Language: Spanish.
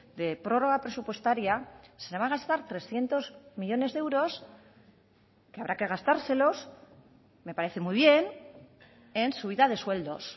de prórroga presupuestaria se va a gastar trescientos millónes de euros que habrá que gastárselos me parece muy bien en subida de sueldos